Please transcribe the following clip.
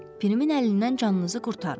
Pirimin əlindən canınızı qurtarın.